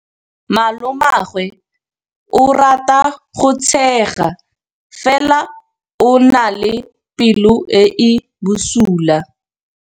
Malomagwe o rata go tshega fela o na le pelo e e bosula.